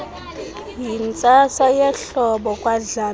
yintsasa yehlobo kwadlamini